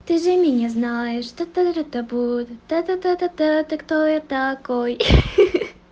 ты за меня знаешь что ты-то будто та та та та та ты кто я такой